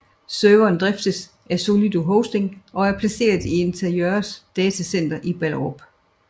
Serveren driftes af Solido Hosting og er placeret i Interxions datacenter i Ballerup